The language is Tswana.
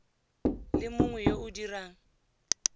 le mongwe yo o dirang